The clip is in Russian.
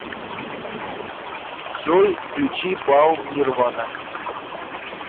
джой включи паул нирвана